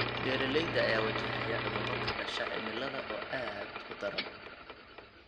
Beeralayda ayaa wajahaya cudurro ka dhasha cimilada oo aad u daran.